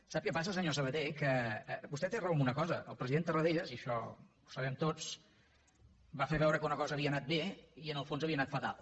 sap què passa senyor sabaté que vostè té raó en una cosa el president tarradellas i això ho sabem tots va fer veure que una cosa havia anat bé i en el fons havia anat fatal